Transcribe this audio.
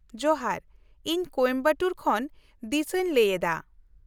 -ᱡᱚᱦᱟᱨ, ᱤᱧ ᱠᱳᱭᱮᱢᱵᱟᱴᱩᱨ ᱠᱷᱚᱱ ᱫᱤᱥᱟᱧ ᱞᱟᱹᱭ ᱮᱫᱟ ᱾